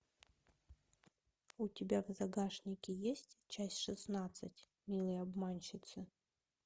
у тебя в загашнике есть часть шестнадцать милые обманщицы